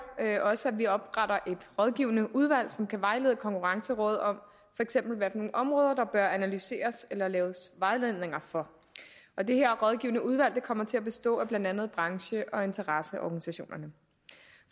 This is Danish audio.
også at vi opretter et rådgivende udvalg som kan vejlede konkurrencerådet om hvilke områder der bør analyseres eller laves vejledninger for og det her rådgivende udvalg kommer til at bestå af blandt andet branche og interesseorganisationerne